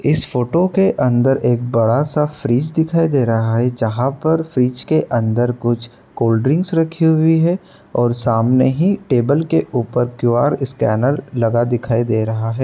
इस फोटो के अंदर एक बड़ा सा फ्रिज दिखाई दे रहा हैजहाँ पर फ्रिज के अंदर कुछ कोल्डड्रिंक्स रखी हुई हैं। और सामने ही टेबल के ऊपर क्यू_आर स्कैनर लगा दिखाई दे रहा है।